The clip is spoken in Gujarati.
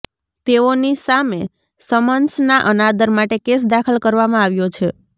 તેઓની સામે સમન્સના અનાદર માટે કેસ દાખલ કરવામાં આવ્યો છે